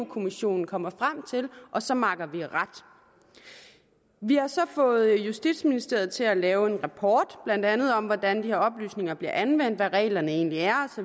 kommissionen kommer frem til og så makker ret vi har så fået justitsministeriet til at lave en rapport blandt andet om hvordan de her oplysninger bliver anvendt hvad reglerne egentlig er